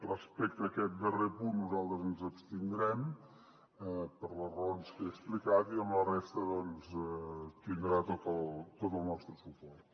respecte a aquest darrer punt nosaltres ens abstindrem per les raons que he explicat i en la resta doncs tindrà tot el nostre suport